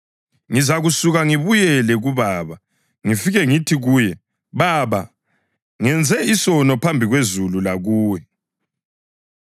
Ngizasuka ngibuyele kubaba ngifike ngithi kuye: Baba, ngenze isono phambi kwezulu lakuwe.